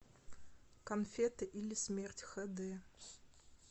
конфеты или смерть х д